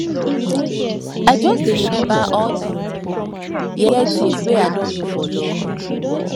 i just dey remember all di um yeye tins wey i don do for love